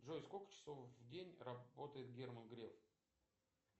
джой сколько часов в день работает герман греф